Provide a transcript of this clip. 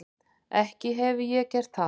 Ekki hefi ég gert það.